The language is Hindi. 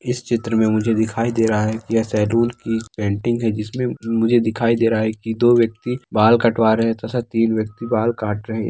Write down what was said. इस चित्र में मुझे दिखाई दे रहा है की ये सैलून की पेंटिंग है जिसमे मुझे दिखाई दे रहा है की दो व्यक्ति बाल कटवा रहे है तथा तीन व्यक्ति बाल काट रहे है।